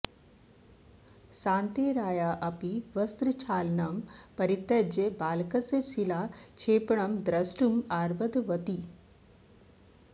सान्तेराया अपि वस्त्रक्षालनं परित्यज्य बालकस्य शिलाक्षेपणं द्रष्टुम् आरब्धवती